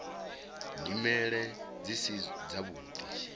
nyimele dzi si dzavhuḓi ḽi